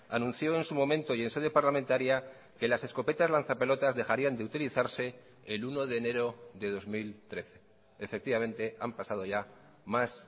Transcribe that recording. anunció en su momento y en sede parlamentaria que las escopetas lanzapelotas dejarían de utilizarse el uno de enero de dos mil trece efectivamente han pasado ya más